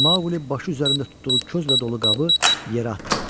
Maqli başı üzərində tutduğu közlə dolu qabı yerə atdı.